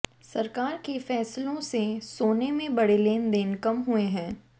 सरकार के फैसलों से सोने में बड़े लेनदेन कम हुए हैं